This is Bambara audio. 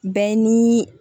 Bɛɛ ni